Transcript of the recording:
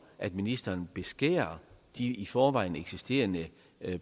at ministeren beskærer de i forvejen eksisterende